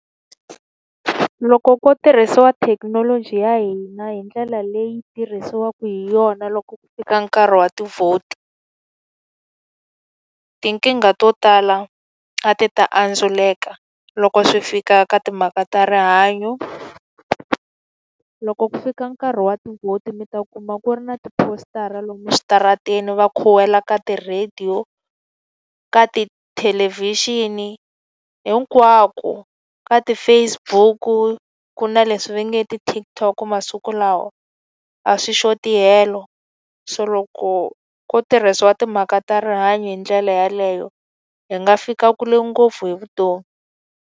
Loko ko tirhisiwa thekinoloji ya hina hi ndlela leyi tirhisiwaka hi yona loko ku fika nkarhi wa ti-vote, tinkingha to tala a ti ta anstwiseka loko swi fika ka timhaka ta rihanyo. Loko ku fika nkarhi wa ti-vote mi ta kuma ku ri na tipositara lomu eswitarateni, va khuwela ka ti-radio, ka tithelevhixini. Hinkwako. Ka ti-Facebook-u, ku ku na leswi va nge ti-TikTok masiku lawa, a swi xoti helo. So loko ko tirhisiwa timhaka ta rihanyo hi ndlela yeleyo, hi nga fika kule ngopfu hi vutomi.